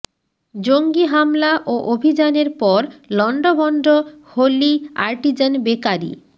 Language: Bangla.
জঙ্গি হামলা ও অভিযানের পর লণ্ডভণ্ড হলি আর্টিজান বেকারি